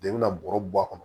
I bɛna bɔrɔ bɔ a kɔnɔ